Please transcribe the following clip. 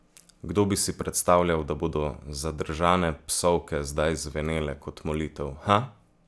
Kdo bi si predstavljal, da bodo zadržane psovke zdaj zvenele kot molitev, ha?